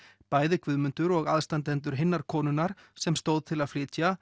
bæði Guðmundur og aðstandendur hinnar konunnar sem stóð til að flytja